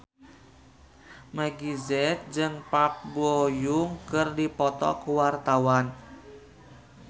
Meggie Z jeung Park Bo Yung keur dipoto ku wartawan